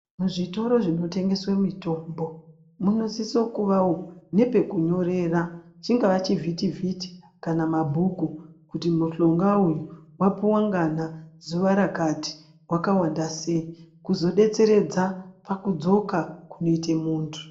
Muzvitoro zvinotengeswe mutombo munosisa kuvawo nepekunyorera chingava chivhiti vhiti kana mabhuku kuti mishonga uyu wapuwa ngana zuwa rakati wakawandasei kuzodetseredza pakudzoka kunoite muntu.